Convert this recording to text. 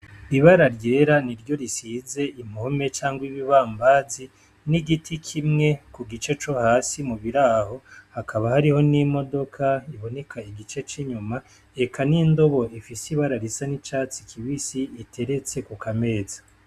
Ibara ryera niryo risize impome canke ibibambazi n'igiti kimwe kugice co hasi mubiraho hakaba hariho n'imodoka iboneka igice c'inyuma eka n'indobo ifise ibara risa n'icatsi kibisi iteretse ku kameza